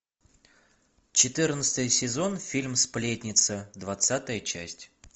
четырнадцатый сезон фильм сплетница двадцатая часть